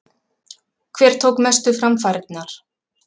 Hver tók mestu framfarirnar?